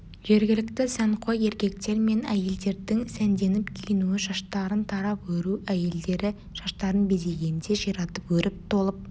жергілікті сәнқой еркектер мен әйелдердің сәнденіп киінуі шаштарын тарап өру әйелдері шаштарын безегенде ширатып өріп толып